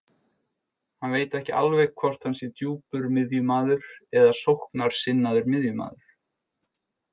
Hann veit ekki alveg hvort hann sé djúpur miðjumaður eða sóknarsinnaður miðjumaður.